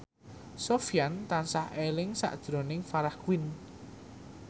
Sofyan tansah eling sakjroning Farah Quinn